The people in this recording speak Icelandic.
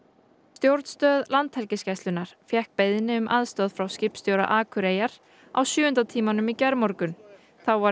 stjórnstöð Landhelgisgæslunnar fékk beiðni um aðstoð frá skipstjóra Akureyjar á sjöunda tímanum í gærmorgun þá var